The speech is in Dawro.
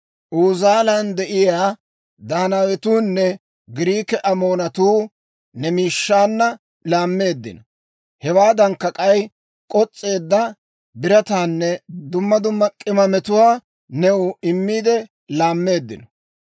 Uzaalan de'iyaa Daanaawetuunne Giriike Amoonatuu ne miishshaanna laammeeddino. Hewaadankka k'ay, k'os's'eedda birataanne dumma dumma k'imaametuwaa new immiide laammeeddino.